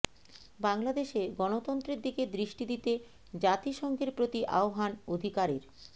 বাংলাদেশে গণতন্ত্রের দিকে দৃষ্টি দিতে জাতিসংঘের প্রতি আহ্বান অধিকারের